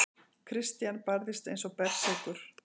Christian barðist eins og berserkur.